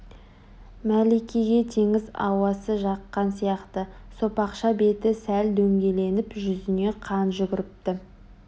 мәликеге теңіз ауасы жаққан сияқты сопақша беті сәл дөңгеленіп жүзіне қан жүгіріпті